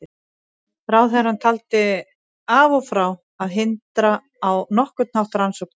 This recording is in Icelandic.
Ráðherrann taldi af og frá að hindra á nokkurn hátt rannsókn þess.